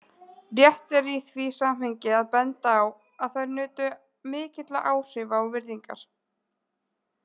Rétt er í því samhengi að benda á að þær nutu mikilla áhrifa og virðingar.